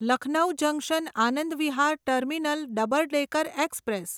Lucknow junction Anand Vihar terminal double decker express